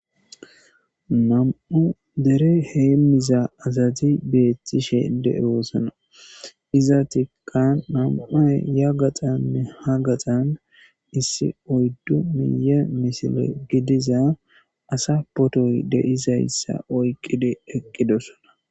nam'o dere heemmiza azadi beethtishe dee woosana iza tikkan nam'ay ya gaxanne ha gaxan issi oyddu miye misile gidiza asa potoy deizayssa oyqide eqqidosona.